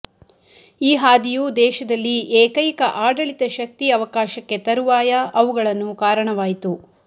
ಈ ಹಾದಿಯು ದೇಶದಲ್ಲಿ ಏಕೈಕ ಆಡಳಿತ ಶಕ್ತಿ ಅವಕಾಶಕ್ಕೆ ತರುವಾಯ ಅವುಗಳನ್ನು ಕಾರಣವಾಯಿತು